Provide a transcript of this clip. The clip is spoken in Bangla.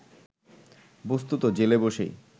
বস্তুত জেলে বসেই